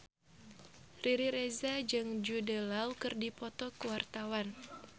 Riri Reza jeung Jude Law keur dipoto ku wartawan